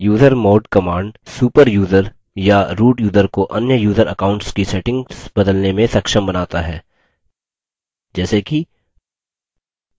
usermod command super user या root user को अन्य यूज़र accounts की settings बदलने में सक्षम बनता है जैसे कि